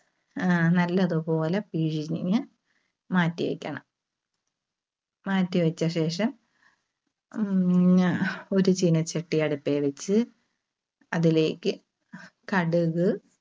ആഹ് നല്ലതുപോലെ പിഴിഞ്ഞ് മാറ്റിവെക്കണം. മാറ്റിവെച്ചശേഷം അഹ് ഉം ഒരു ചീനച്ചട്ടി അടുപ്പേൽവെച്ച് അതിലേക്ക് കടുക്